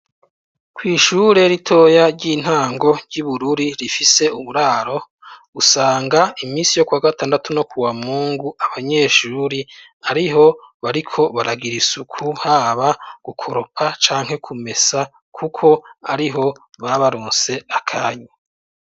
Kw'ishuri ritoya ry'intango ryi Bururi rifise uburaro usanga imisi yo kwa gatandatu no ku wa mungu abanyeshuri ariho bariko baragira isuku haba gukoropa canke kumesa kuko ariho babarose akanya.